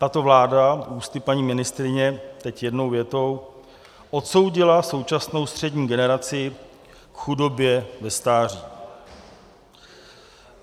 Tato vláda ústy paní ministryně teď jednou větou odsoudila současnou střední generaci k chudobě ve stáří.